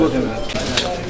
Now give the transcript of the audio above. Nə iş görürəm mən?